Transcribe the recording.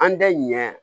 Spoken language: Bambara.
An tɛ ɲɛ